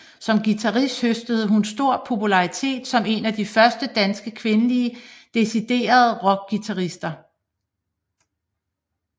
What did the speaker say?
Som guitarist høstede hun stor popularitet som en af de første danske kvindelige deciderede rockguitarister